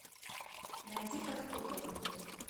найди под куполом